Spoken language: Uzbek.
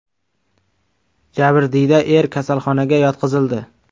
Jabrdiyda er kasalxonaga yotqizildi.